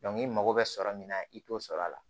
i mago bɛ sɔrɔ min na i t'o sɔrɔ a la